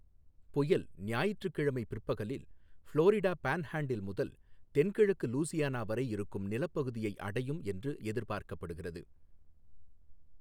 புயல் ஞாயிற்றுக்கிழமை பிற்பகலில் ஃப்ளாரிடா பான்ஹேண்டில் முதல் தென்கிழக்கு லூஸியானா வரை இருக்கும் நிலப்பகுதியை அடையும் என்று எதிர்பார்க்கப்படுகிறது.